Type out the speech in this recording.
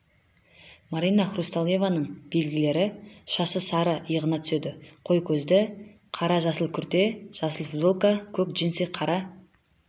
марина хрусталеваның белгілері шашы сары иығына түседі қой көзді қара-жасыл күрте жасыл футболка көк джинсы қара